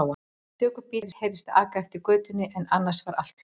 Stöku bíll heyrðist aka eftir götunni en annars var allt hljótt.